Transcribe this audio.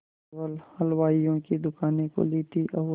केवल हलवाइयों की दूकानें खुली थी और